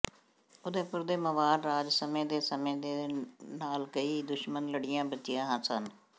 ਉਦੈਪੁਰ ਦੇ ਮਵਾਰ ਰਾਜ ਸਮੇਂ ਦੇ ਸਮੇਂ ਦੇ ਨਾਲ ਕਈ ਦੁਸ਼ਮਣ ਲੜੀਆਂ ਬਚੀਆਂ ਸਨ